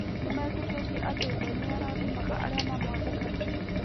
Nĩmetĩkĩtie atĩ Ngai nĩ arathimaga arĩa mamwathĩkagĩra.